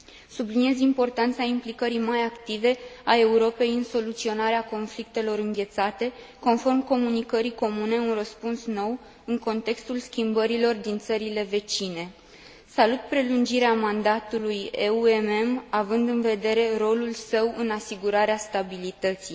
Subliniez importanța implicării mai active a Europei în soluționarea conflictelor înghețate, conform comunicării comune Un răspuns nou în contextul schimbărilor din țările vecine. Salut prelungirea mandatului EUMM, având în vedere rolul său în asigurarea stabilității.